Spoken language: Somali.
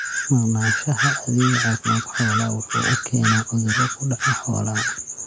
Maqnaanshaha adeega caafimaadka xoolaha waxa uu keenaa cuduro ku dhaca xoolaha.